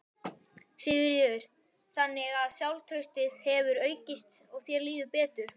Sigríður: Þannig að sjálfstraustið hefur aukist og þér líður betur?